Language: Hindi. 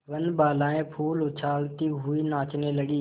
वनबालाएँ फूल उछालती हुई नाचने लगी